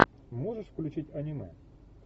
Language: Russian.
можешь включить аниме